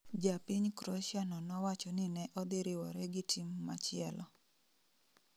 Japiny kroshia no nowacho ni ne odhi riwore gi team machielo